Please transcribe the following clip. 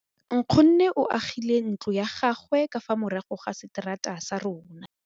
Nkgonne o agile ntlo ya gagwe ka fa morago ga seterata sa rona.